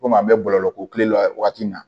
Komi an bɛ bɔlɔlɔ ko kelen la wagati min na